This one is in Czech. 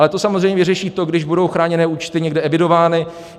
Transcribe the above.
Ale to samozřejmě řeší to, když budou chráněné účty někde evidovány.